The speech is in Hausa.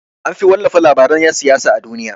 Anfi wallafa labaran yan siyasa a duniya.